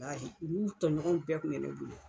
laahi o n'u tɔɲɔgɔnw bɛɛ kun bɛ ne bonya.